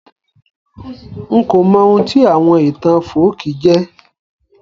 N ko mọ oun tí àwon ìtàn folkí jẹ́